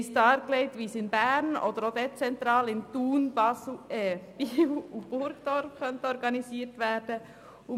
Uns wurde dargelegt, wie dies in Bern oder auch dezentral in Thun, Biel und Burgdorf organisiert werden könnte.